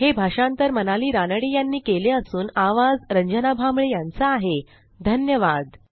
हे भाषांतर मनाली रानडे ह्यांनी केले असून आवाज रंजना भांबळे ह्यांचा आहे सहभागासाठी धन्यवाद